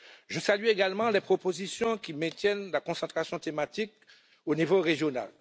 Je salue également les propositions qui maintiennent la concentration thématique au niveau régional.